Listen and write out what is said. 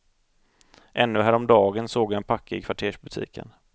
Ännu häromdagen såg jag en packe i kvartersbutiken.